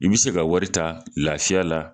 I bɛ se ka wari ta lafiya la